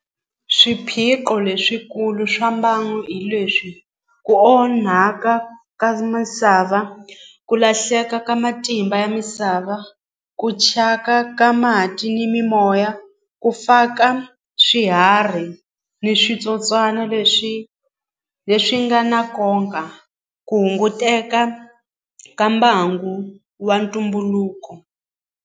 Swiphiqo leswikulu swa mbangu hi leswi ku onhaka ka misava ku lahleka ka matimba ya misava ku chaka ka mati ni mimoya ku faka swiharhi ni switsotswana leswi leswi nga na ku hunguteka ka mbangu wa ntumbuluko.